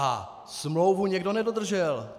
A smlouvu někdo nedodržel.